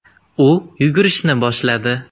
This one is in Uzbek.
U yugurishni boshladi.